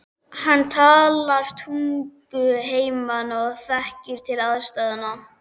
Hann talar tungu heimamanna og þekkir til aðstæðna.